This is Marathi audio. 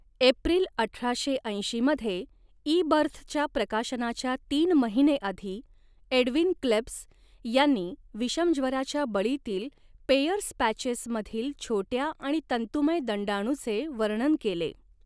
एप्रिल अठराशे ऐंशी मध्ये, ईबर्थच्या प्रकाशनाच्या तीन महिने आधी, एडवीन क्लेब्स यांनी विषमज्वराच्या बळींतील 'पेयर्स पॅचेस' मधील छोट्या आणि तंतुमय दंडाणुचे वर्णन केले.